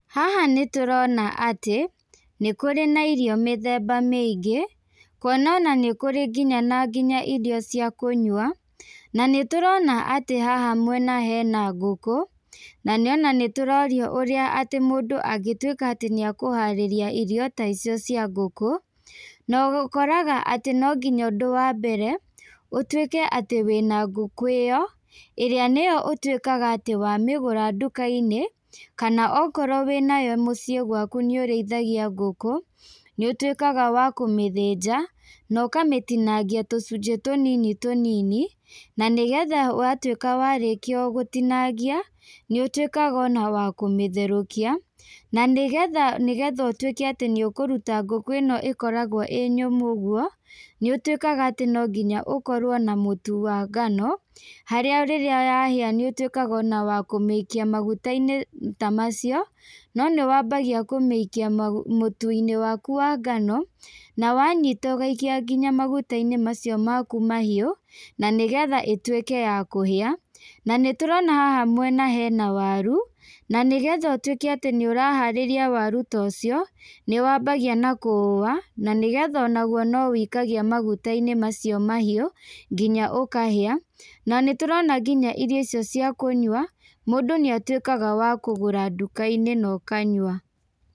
Haha nĩtũrona atĩ, nĩkũrĩ na irio mĩthemba mĩingĩ, kuona ona nĩkũrĩ nginya na nginya irio cia kũnyua, na nĩtũrona atĩ haha mwena hena ngũkũ, na ona nĩtũrorio ũrĩa atĩ mũndũ angĩtuĩka atĩ nĩakũharĩria irio ta icio cia ngũkũ, na ũkoraga atĩ nonginya ũndũ wa mbere, ũtuĩke atĩ wĩna ngũkũ ĩyo, ĩrĩa nĩyo ũtuĩkaga atĩ wamĩgũra ndukainĩ, kana okorwo wĩnayo mũciĩ gwaku nĩũrĩithagia ngũkũ, nĩũtuĩkaga wa kũmĩthĩnja, na ũkamĩtinangia tũcunjĩ tũnini tũnini, na nĩgetha watuĩka warĩkia gũtinangia, nĩũtuĩkaga ona wa kũmĩtherũkia, na nĩgetha nĩgetha ũtuĩke atĩ nĩũkũruta ngũkũ ĩno ĩkoragwo ĩnyũmũ ũguo, nĩũtuĩkaga atĩ nonginya ũkorwo na mũtu wa ngano, harĩa rĩrĩa yahĩa nĩũtuĩkaga ona wa kũmĩikia magutainĩ ta macio, no nĩwambagia kũmĩikia magũ mũtuinĩ waku wa ngano, na wanyita ũgaika nginya magutainĩ macio maku mahiũ, na nĩgetha ĩtuĩke yakũhĩa, na nĩtũrona haha mwena hena waru, na nĩgetha ũtuĩke atĩ nĩũraharĩria waru ta ũcio, nĩwambagia nakua, na nĩgetha onagwo no wĩikagia magutainĩ macio mahiũ, nginya ũkahĩa, na nĩtũrona nginya irio icio cia kũnyua, mũndũ nĩatuĩkaga wa kũgũra ndũkainĩ na ũkanyua.